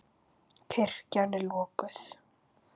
Kirkjan er lokuð.